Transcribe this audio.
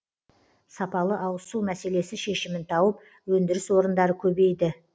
сапалы ауызсу мәселесі шешімін тауып өндіріс орындары көбейді